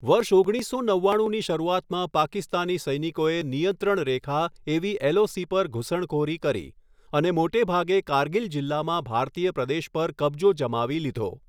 વર્ષ ઓગણીસો નવ્વાણુંની શરૂઆતમાં પાકિસ્તાની સૈનિકોએ નિયંત્રણ રેખા એવી એલઓસી પર ઘૂસણખોરી કરી અને મોટેભાગે કારગિલ જિલ્લામાં ભારતીય પ્રદેશ પર કબજો જમાવી લીધો.